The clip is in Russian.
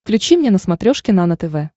включи мне на смотрешке нано тв